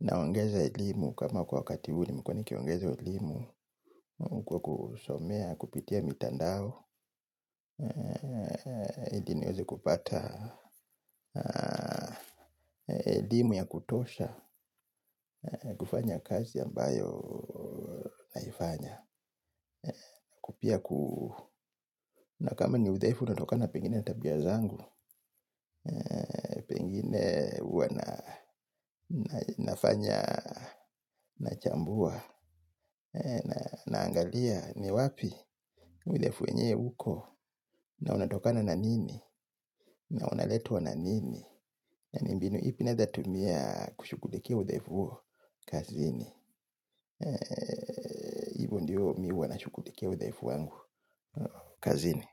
naongeza elimu kama kwa wakati elimu nilikuwa nikiongeza elimu. Kwa kusomea, kupitia mitandao ndio niweze kupata elimu ya kutosha kufanya kazi ambayo naifanya. Pia nakama ni udhaifu unatokana pengine na tabia zangu. Pengine huwa nafanya. Nachambua naangalia ni wapi udhaifu wenyewe uko. Na unatokana na nini. Na unaletwa na nini. Yaani mbinu ipi nawetumia kushughulikia udhaifu huo kazini hivo ndiyo mimi huwa nashughulikia udhaifu wangu. Kazini.